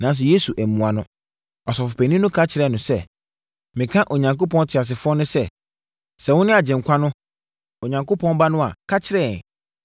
Nanso, Yesu ammua no. Ɔsɔfopanin no ka kyerɛɛ no sɛ, “Meka Onyankopɔn teasefoɔ no sɛ, sɛ wone Agyenkwa no, Onyankopɔn Ba no a, ka kyerɛ yɛn!”